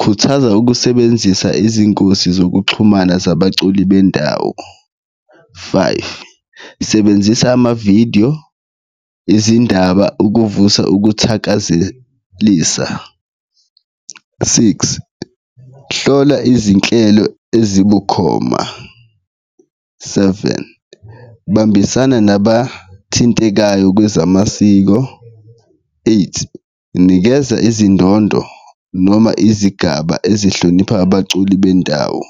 khuthaza ukusebenzisa izingosi zokuxhumana zabaculi bendawo, five, sebenzisa amavidiyo ezindaba ukuvusa ukuthakazelisa. Six, hlola izinhlelo ezibukhoma, seven, bambisana nabathintekayo bezamasiko, eight, nikeza izindondo noma izigaba ezihlonipha abaculi bendawo.